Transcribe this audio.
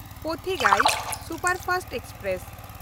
Pothigai superfast express